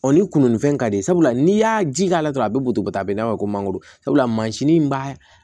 ni kununifɛn ka di ye sabula n'i y'a ji k'a la dɔrɔn a bɛ butɛba ta a be n'a fɔ ko mangoro sabula mansin b'a